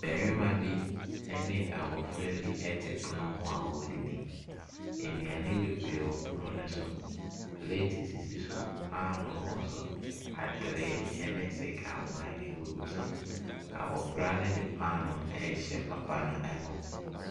Ɔbarima bi be abɔfra bi te pono ho a wɔredidi. Nnuane bebree wɔ pono no so, pleeti sisi so, paano wɔ so, atere ne sekamma, gugu so. Abɔfra no de paano rehyɛ papa no anum.